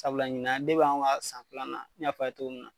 Sabula ɲinan deb' anw ga san filanan n y'a fɔ aw ye togo minna